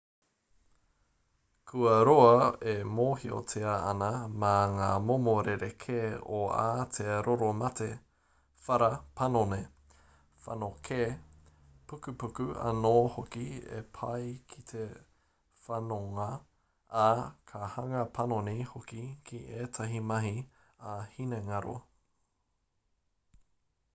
kua roa e mōhiotia ana mā ngā momo rerekē o ā te roro mate whara panoni whanokē pukupuku anō hoki e pā ki te whanonga ā ka hanga panoni hoki ki ētahi mahi ā-hinengaro